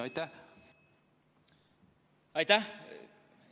Aitäh!